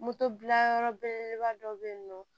Moto bila yɔrɔ belebeleba dɔ bɛ yen nɔ